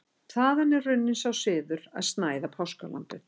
Þaðan er runninn sá siður að snæða páskalambið.